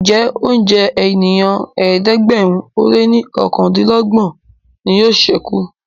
Njé oúnjẹ ènìyàn ẹ̀ẹ́dẹ̀gbẹ̀rin o lẹ ní okàndinlogbon ní yóò sẹku?